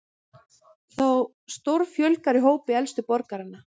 Þá stórfjölgar í hópi elstu borgaranna